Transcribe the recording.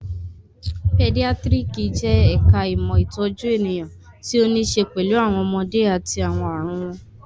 Pedíátírìkì jẹ́ ẹ̀ka ìmọ̀ ìtọ́jú ènìyàn tí ó ní ṣe pẹ̀lú àwọn ọmọdé àti àwọn ààrùn wọn